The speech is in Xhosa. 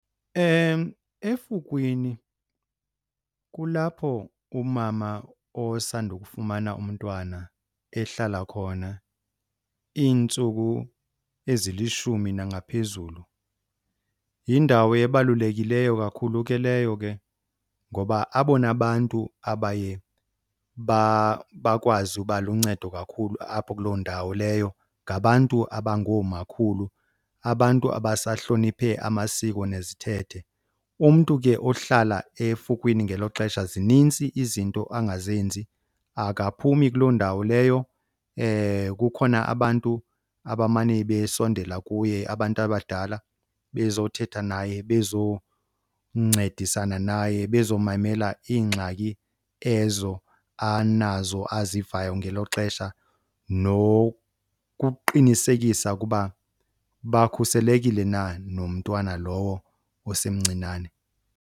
Efukwini kulapho umama osandokufumana umntwana ehlala khona iintsuku ezilishumi nangaphezulu. Yindawo ebalulekileyo kakhulu ke leyo ke ngoba abona bantu abaye bakwazi uba luncedo kakhulu apho kuloo ndawo leyo ngabantu abangoomakhulu, abantu abasahloniphe amasiko nezithethe. Umntu ke ohlala efukwini ngelo xesha zinintsi izinto angazenzi. Akaphumi kuloo ndawo leyo, kukhona abantu abamane besondela kuye, abantu abadala bezothetha naye, bezoncedisana naye, bezomamela iingxaki ezo anazo azivayo ngelo xesha, nokuqinisekisa ukuba bakhuselekile na nomntwana lowo osemncinane.